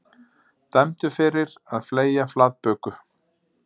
Dæmdur fyrir að fleygja flatböku